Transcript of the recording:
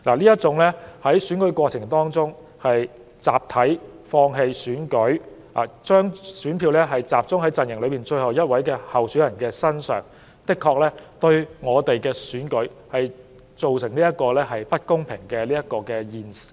這種在選舉過程中集體放棄參選，並把選票集中在陣營內最後一名候選人身上的做法，確實會令選舉變得不公平。